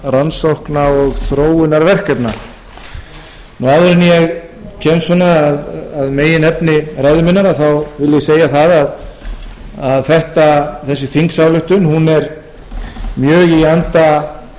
rannsókna og þróunarverkefna áður en ég kem að meginefni ræðu minnar vil ég segja það að þessi þingsályktun er mjög í anda